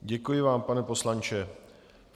Děkuji vám, pane poslanče.